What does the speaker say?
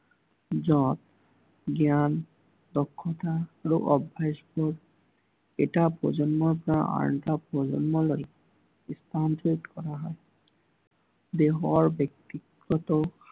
যত, জ্ঞান, দক্ষতা আৰু অভ্য়াসক এটা প্ৰজন্মৰ পৰা আন এটা প্ৰজন্মলৈ স্থানান্তিৰত কৰা হয়। দেশৰ ব্য়ক্তিগত